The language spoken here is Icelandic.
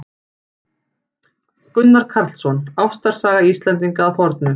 Gunnar Karlsson: Ástarsaga Íslendinga að fornu.